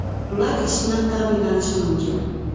Ular ish bilan ta’minlanishi mumkin.